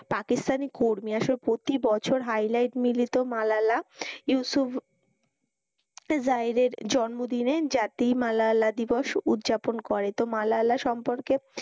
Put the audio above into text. পাকিস্থানী কর্মী আসলে প্রতিবছর highlight মিলিত মালালা ইউসুফ জাহিরের জন্মদিনে জাতি মালালা দিবস উদযাপন করে। তো মালালা সম্পর্কে,